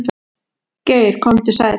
Geir komdu sæll.